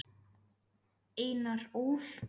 Einar Ól.